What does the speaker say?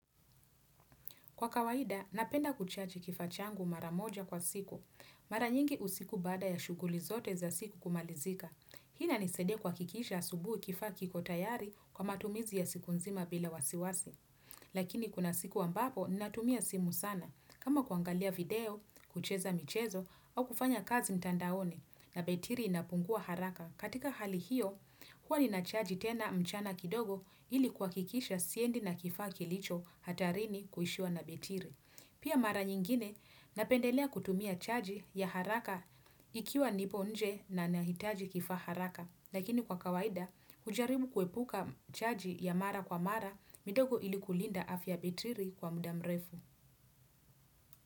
Kwa kawaida, napenda kuchaji kifa changu mara moja kwa siku. Mara nyingi usiku bada ya shuguli zote za siku kumalizika. Hii ina nisadia kuhakikisha asubuhi kifa kikotayari kwa matumizi ya siku nzima bila wasiwasi. Lakini kuna siku ambapo, natumia simu sana. Kama kuangalia video, kucheza michezo, au kufanya kazi mtandaoni na betiri inapungua haraka. Katika hali hiyo, huwa nina charge tena mchana kidogo ilikuwa kuhakikisha siendi na kifaa kilicho hatarini kuishiwa na betiri. Pia mara nyingine napendelea kutumia charge ya haraka ikiwa nipo nje na nahitaji kifa haraka. Lakini kwa kawaida, hujaribu kuepuka charge ya mara kwa mara midogo ilikulinda afya betiri kwa muda mrefu.